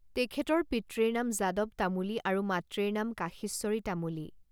তেখেতৰ পিতৃৰ নাম যাদৱ তামূলী আৰু মাতৃৰ নাম কাশীশ্বৰী তামূলী়।